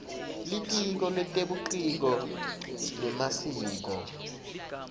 litiko letebuciko nemasiko